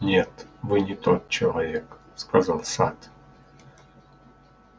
нет вы не тот человек сказал сатт